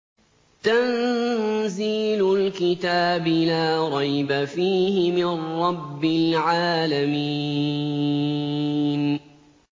تَنزِيلُ الْكِتَابِ لَا رَيْبَ فِيهِ مِن رَّبِّ الْعَالَمِينَ